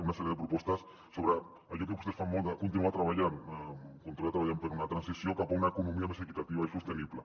una sèrie de propostes sobre allò que vostès fan molt de continuar treballant continuar treballant per una transició cap a una economia més equitativa i sostenible